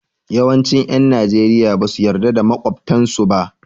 Yawancin 'yan Najeriya ba su yarda da makwabtansu ba.